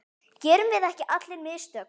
Gerum við ekki allir mistök?